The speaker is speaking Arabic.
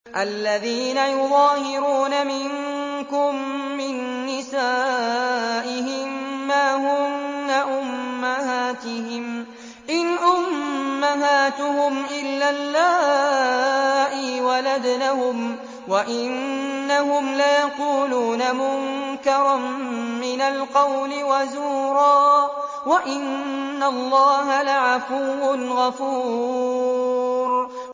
الَّذِينَ يُظَاهِرُونَ مِنكُم مِّن نِّسَائِهِم مَّا هُنَّ أُمَّهَاتِهِمْ ۖ إِنْ أُمَّهَاتُهُمْ إِلَّا اللَّائِي وَلَدْنَهُمْ ۚ وَإِنَّهُمْ لَيَقُولُونَ مُنكَرًا مِّنَ الْقَوْلِ وَزُورًا ۚ وَإِنَّ اللَّهَ لَعَفُوٌّ غَفُورٌ